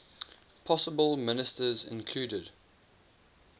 possible ministers included